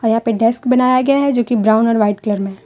यहां पे डेस्क बनाया गया है जो कि ब्राउन और वाइट कलर में है।